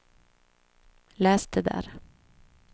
läs det där